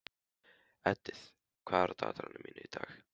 Edith, hvað er á dagatalinu í dag?